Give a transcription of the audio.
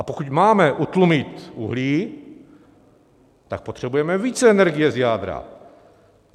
A pokud máme utlumit uhlí, tak potřebujeme více energie z jádra.